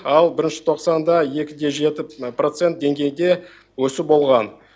ал бірінші тоқсанда екі де жеті процент деңгейінде өсу болған